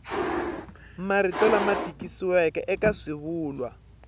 marito lama tikisiweke eka swivulwa